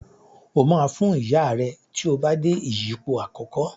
O ma Fún Ìyá rẹ tíó bá dé ìyípo àkókò.